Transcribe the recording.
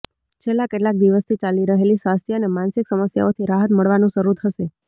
છેલ્લા કેટલાક દિવસોથી ચાલી રહેલી સ્વાસ્થ્ય અને માનસિક સમસ્યાઓથી રાહત મળવાનું શરૂ થશે